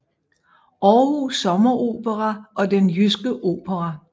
Aarhus Sommeropera og Den Jyske Opera